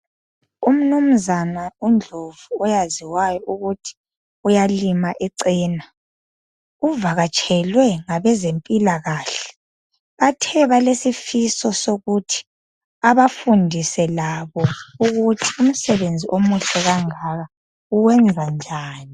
Umnumzana uNdlovu oyaziwayo ukuthi uyalima icena, uvakatshelwe ngabezempilakahle. Bathe balesifiso sokuthi abafundise labo ukuthi umsebenzi omuhle kangaka uwenza njani. .